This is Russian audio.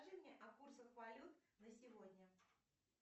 скажи мне о курсах валют на сегодня